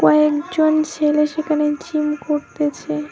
কয়েকজন ছেলে সেখানে জিম করতেছে।